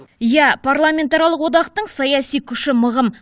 иә парламентаралық одақтың саяси күші мығым